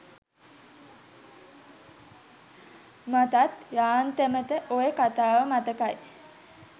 මටත් යාන්තමට ඔය කතාව මතකයි